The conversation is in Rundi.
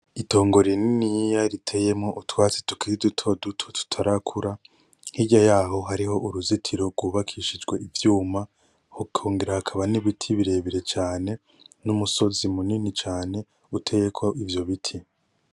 Itongo rininiya riteyemwo utwatsi tukiri dutoduto tutarakura hirya yaho hariho uruzitiro rwubakishijwe ivyuma hakongera hakaba nibiti birebire cane numusozi munini cane uteyeko ivyo biti .